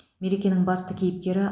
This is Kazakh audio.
мерекенің басты кейіпкері